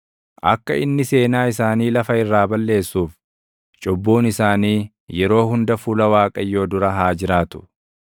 Akka inni seenaa isaanii lafa irraa balleessuuf, cubbuun isaanii yeroo hunda fuula Waaqayyoo dura haa jiraatu.